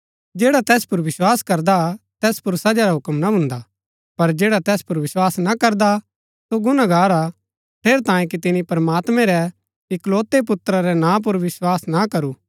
जैडा तैस पुर विस्वास करदा तैस पुर सजा रा हुक्म ना भून्दा पर जैडा तैस पुर वसबास ना करदा सो गुनागार हा ठेरैतांये कि तिनी प्रमात्मैं रै इकलोतै पुत्रा रै नां पुर वसबास न करू